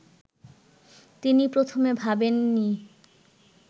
তিনি প্রথমে ভাবেন নি